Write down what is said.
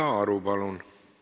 Krista Aru, palun!